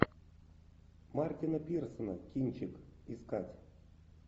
мартина пирсона кинчик искать